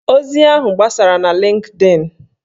Ozi ahụ gbasara na Lịnkdịn